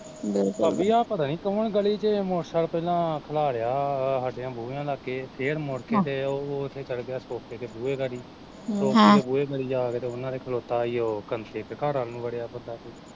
ਭਾਬੀ ਆ ਪਤਾ ਨੀ ਕੋਣ ਗਲੀ ਚ ਮੋਟਰਸੈਕਲ ਪਹਿਲਾਂ ਖਲਾਰਿਆ, ਆ ਸਾਡੇ ਬੂਹਿਆ ਲਾਗੇ, ਫੇਰ ਮੁੜ ਕੇ ਤੇ ਹਮ ਓਹ ਓਥੇ ਚੱਲ ਗਿਆ ਖੋਕੇ ਕੇ ਬੂਹੇ ਗਾੜੀ ਹਮ ਖੋਕੇ ਦੇ ਬੂਹੇ ਗਾੜੀ ਜਾਕੇ ਤੇ ਓਹਨਾ ਦੇ ਖਲੋਤਾ ਈ ਓ ਕਸੇ ਦੇ ਘਰ ਵੱਲ ਨੂੰ ਵੜਿਆ ਬੰਦਾ ਇੱਕ